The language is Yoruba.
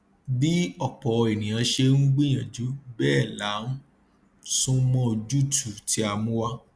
bí ọpọ ènìyàn ṣe ń gbìyànjú bẹẹ la ń sún mọ ojútùú tí a mú wá